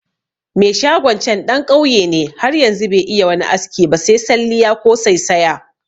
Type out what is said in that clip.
Me shagon can ɗan ƙauye ne har yanzu be iya wani aski ba se salliya ko saisaya